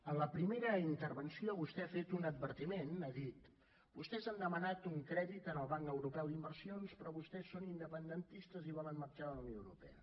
en la primera intervenció vostè ha fet un advertiment ha dit vostès han demanat un crèdit en el banc europeu d’inversions però vostès són independentistes i volen marxar de la unió europea